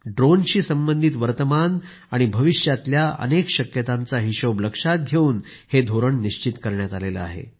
ड्रोनशी संबंधित वर्तमान आणि भविष्यातल्या अनेक शक्यतांचा हिशेब लक्षात घेऊन हे धोरण निश्चित केले आहे